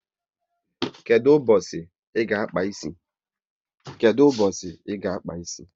Kedụ mbosi ị ga-akpa ịsị?